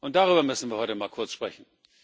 Darüber müssen wir heute mal kurz sprechen.